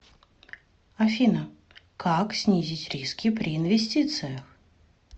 афина как снизить риски при инвестициях